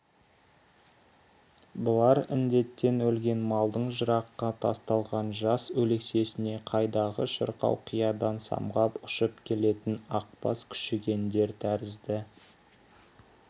бұлар індеттен өлген малдың жыраққа тасталған жас өлексесіне қайдағы шырқау қиядан самғап ұшып келетін ақбас күшігендер тәрізді